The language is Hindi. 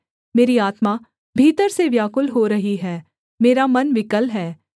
मेरी आत्मा भीतर से व्याकुल हो रही है मेरा मन विकल है